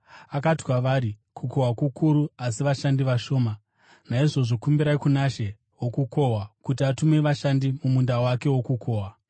Akati kwavari, “Kukohwa kukuru, asi vashandi vashoma. Naizvozvo kumbirai kuna She wokukohwa, kuti atume vashandi mumunda wake wokukohwa.